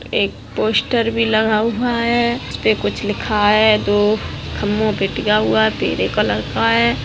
Poster भी लगा हुआ है उस पर कुछ लिखा हुआ है दो खम्बो पर टिका हुआ पीले कलर का है।